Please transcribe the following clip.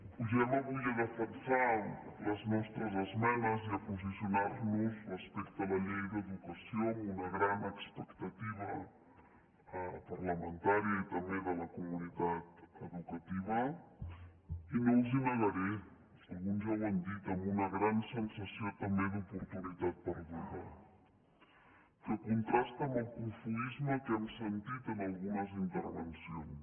pugem avui a defensar les nostres esmenes i a posicionarnos respecte a la llei d’educació amb una gran expectativa parlamentària i també de la comunitat educativa i no els ho negaré alguns ja ho han dit amb una gran sensació també d’oportunitat perduda que contrasta amb el cofoisme que hem sentit en algunes intervencions